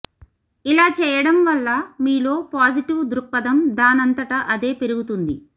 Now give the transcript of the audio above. ఇలా చేయడం వల్ల మీలో పాజిటివ్ దృక్పథం దానంతట అదే పెరుగుతుంది